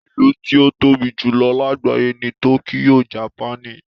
Ìlú tí ó tóbi jù lọ lágbàyé ni tókíyò, japaní.